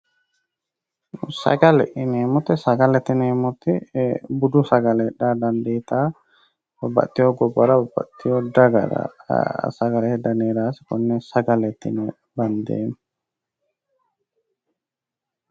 Sagalete yineemmoti budu sagale heedhara dandiittawoo babbaxxitewoo gobbara babbaxxitewoo dagara sagalete dani heerawoose konne sagaleteyiino bandeemmo